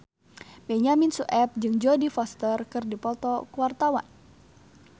Benyamin Sueb jeung Jodie Foster keur dipoto ku wartawan